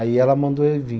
Aí ela mandou ele vir.